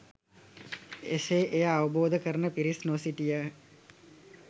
එසේ එය අවබෝධ කරන පිරිස් නො සිටිය